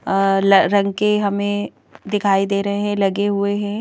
अल रंग के हमें दिखाई दे रहे हैंलगे हुए हैं।